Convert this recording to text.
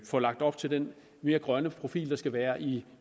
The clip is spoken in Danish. får lagt op til den mere grønne profil der skal være i